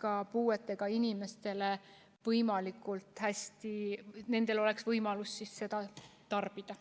ka puuetega inimestel oleks võimalik seda tarbida.